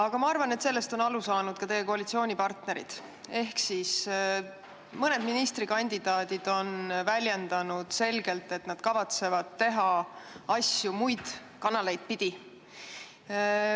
Samas arvan, et sellest on aru saanud ka teie koalitsioonipartnerid, ja mõned ministrikandidaadid on väljendanud selgelt, et nad kavatsevad teha asju muid kanaleid kasutades.